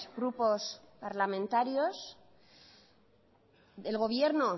grupos parlamentarios el gobierno